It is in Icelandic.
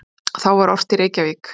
Þá var ort í Reykjavík